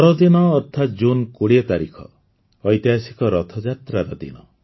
ପରଦିନ ଅର୍ଥାତ୍ ଜୁନ୍ ୨୦ ତାରିଖ ଐତିହାସିକ ରଥଯାତ୍ରାର ଦିନ